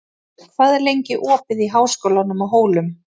Falgeir, hvað er lengi opið í Háskólanum á Hólum?